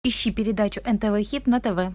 ищи передачу нтв хит на тв